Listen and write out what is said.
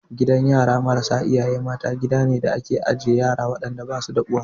Gidan yara marasa iyaye mata, gida ne da ake ajiye waɗanda ba su da uwa.